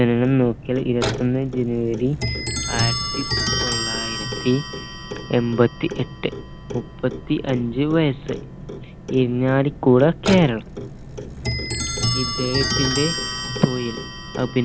ജനനം നോക്കിയാൽ ഇരുവത്തൊന്ന് janvary ആയിരത്തി തൊള്ളായിരത്തി എൺപത്തി എട്ട് മുപ്പത്തി അഞ്ച് വയസ്സ് ഇരിഞ്ഞാലികുട കേരളം ഇദ്ദേഹത്തിന്റെ തൊഴിൽ